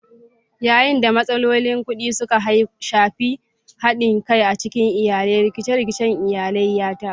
Yayin da matsalolin kuɗi suka shafi haɗin kai a cikin iyali, rikice-rikicen iyali ya taso.